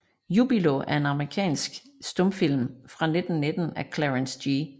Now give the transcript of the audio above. Jubilo er en amerikansk stumfilm fra 1919 af Clarence G